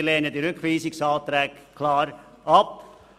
Wir lehnen diese Rückweisungsanträge klar ab.